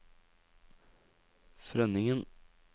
Frønningen